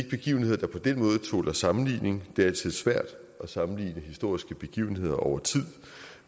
begivenheder der på den måde tåler sammenligning det er altid svært at sammenligne historiske begivenheder over tid